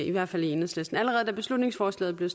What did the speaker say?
i hvert fald i enhedslisten allerede da beslutningsforslaget blev